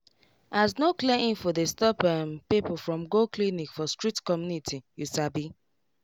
as no clear info dey stop um people from go clinic for strict community you sabi